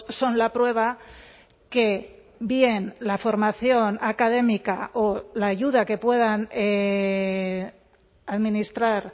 son la prueba que bien la formación académica o la ayuda que puedan administrar